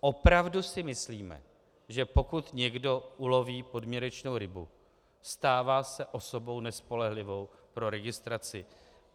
Opravdu si myslíme, že pokud někdo uloví podměrečnou rybu, stává se osobou nespolehlivou pro registraci